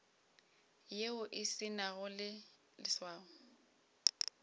yeo e se nago leswao